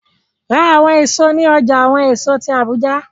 Ra awọn eso ni ọja awọn eso ti Abuja!